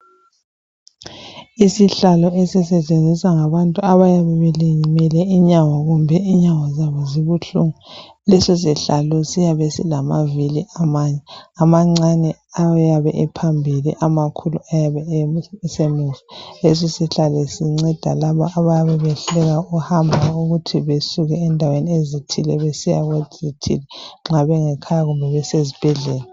Isihlalo esisetshenziswa ngabantu abaye belimele inyawo kumbe inyawo zabo zibuhlungu .Lesisihlalo siyabe silamavili amane amancane ayabe e phambili amakhulu ayabe esemuva .Lesisihlalo sinceda labo abayabe besehluleka ukuhamba ukuthi besuke endaweni ezithile besiya kwezithile .Nxa bengekhaya kumbe besesibhedlela.